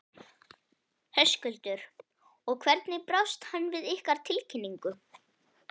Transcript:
Höskuldur: Og hvernig brást hann við ykkar tilkynningu?